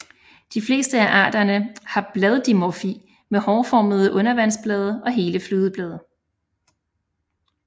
De fleste af arterne har bladdimorfi med hårformede undervandsblade og hele flydeblade